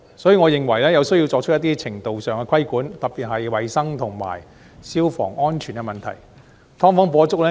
因此，我認為有需要作出一定程度的規管，特別是在衞生及消防安全方面。